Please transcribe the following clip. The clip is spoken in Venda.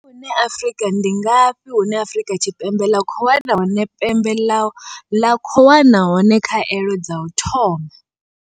Ndi ngafhi hune Afrika Tshi Ndi ngafhi hune Afrika Tshipembe ḽa khou wana hone pembe ḽa khou wana hone khaelo dza u thoma?